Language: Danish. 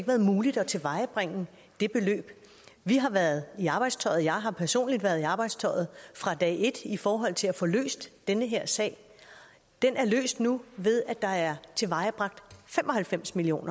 været muligt at tilvejebringe vi har været i arbejdstøjet jeg har personligt været i arbejdstøjet fra dag et i forhold til at få løst den her sag den er løst nu ved at der er tilvejebragt fem og halvfems million